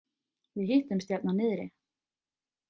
Við hittumst hérna niðri.